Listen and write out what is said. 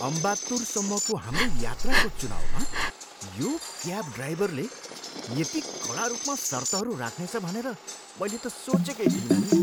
अम्बात्तुरसम्मको हाम्रो यात्राको चुनाउमा यो क्याब ड्राइभरले यदि कडा रूपमा सर्तहरू राख्नेछ भनेर मैले त सोचेकै थिइनँ नि।